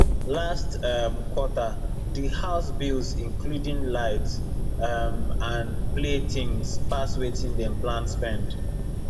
last um quarter the house bills including light um and play things pass wetin dem plan spend